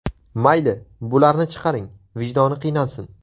Mayli, bularni chiqaring, vijdoni qiynalsin.